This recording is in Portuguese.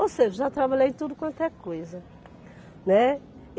Ou seja, já trabalhei em tudo quanto é coisa, né.